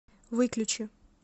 выключи